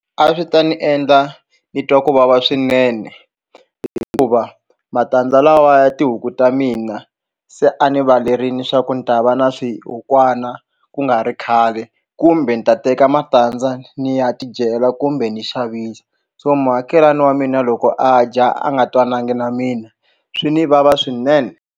A swi ta ni endla ni twa ku vava swinene hikuva matandza lawa ya tihuku ta mina se a ni valerini swa ku ni ta va na swihukwana ku nga ri khale kumbe ni ta teka matandza ni ya tidyela kumbe ni xavisa so muakelani wa mina loko a dya a nga twanangi na mina swi ni vava swinene.